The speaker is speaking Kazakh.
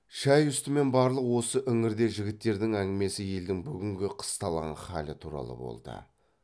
шай үсті мен барлық осы іңірде жігіттердің әңгімесі елдің бүгінгі қысталаң халы туралы болды